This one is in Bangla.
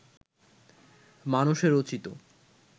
মানসে রচিত